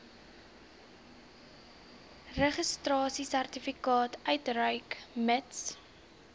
registrasiesertifikaat uitreik mits